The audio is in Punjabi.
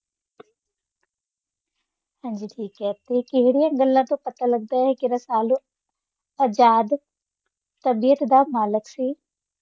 ਹਾਂਜੀ ਠੀਕ ਹੈ ਤੇ ਕਿਹੜੀਆਂ ਗੱਲਾ ਤੋਂ ਪਤਾ ਲੱਗਦਾ ਹੈ ਕੀ ਰਸਾਲੂ ਆਜ਼ਾਦ ਤਬੀਅਤ ਦਾ ਮਾਲਕ ਸੀ?